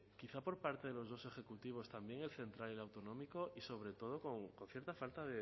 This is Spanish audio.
quizá por parte de los dos ejecutivos también el central y el autonómico y sobre todo con cierta falta